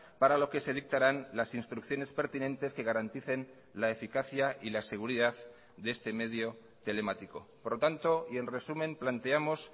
para lo que se dictarán las instrucciones pertinentes que garanticen la eficacia y la seguridad de este medio telemático por lo tanto y en resumen planteamos